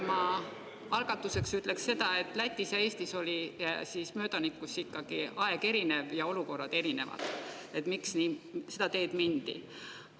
Ma algatuseks ütlen, et Lätis ja Eestis oli möödanikus ikkagi erinev aeg ja erinevad olukorrad, mille tõttu seda teed mindi.